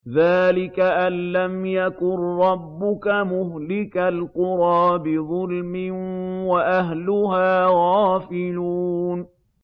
ذَٰلِكَ أَن لَّمْ يَكُن رَّبُّكَ مُهْلِكَ الْقُرَىٰ بِظُلْمٍ وَأَهْلُهَا غَافِلُونَ